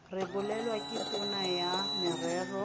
rebolwang ke tona ya merero